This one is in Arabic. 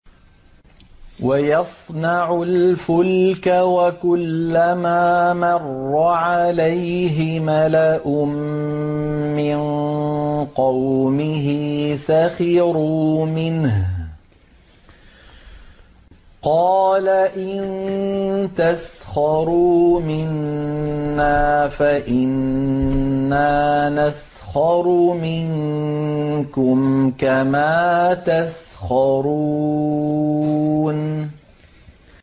وَيَصْنَعُ الْفُلْكَ وَكُلَّمَا مَرَّ عَلَيْهِ مَلَأٌ مِّن قَوْمِهِ سَخِرُوا مِنْهُ ۚ قَالَ إِن تَسْخَرُوا مِنَّا فَإِنَّا نَسْخَرُ مِنكُمْ كَمَا تَسْخَرُونَ